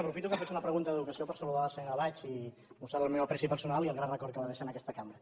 aprofito que faig una pregunta d’educació per saludar la senyora baig i mostrar li el meu aprecio personal i el grat record que va deixar en aquesta cambra